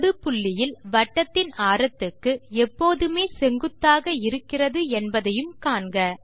தொடுபுள்ளியில் வட்டத்தின் ஆரத்துக்கு எப்போதுமே செங்குத்தாக இருக்கிறது என்பதையும் காண்க